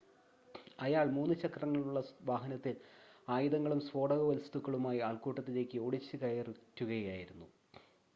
അയാൾ 3 - ചക്രങ്ങളുള്ള വാഹനത്തിൽ ആയുധങ്ങളും സ്ഫോടകവസ്തുക്കളുമായി ആൾക്കൂട്ടത്തിലേയ്ക്ക് ഓടിച്ചുകയറ്റുകയായിരുന്നു